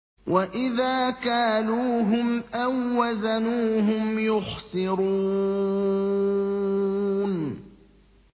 وَإِذَا كَالُوهُمْ أَو وَّزَنُوهُمْ يُخْسِرُونَ